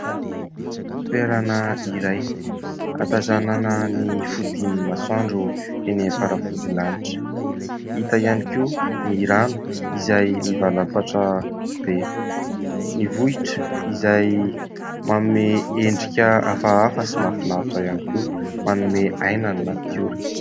Toerana iray ahatazanana ny fodian'ny masandro eny amin'ny faravodilanitra. Hita ihany koa ny rano izay mivalapatra be. Ny vohitra izay manome endrika hafahafa sy mahafinaritra ihany koa, manome aina ny natiora.